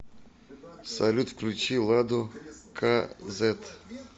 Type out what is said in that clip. салют включи ладу ка зэт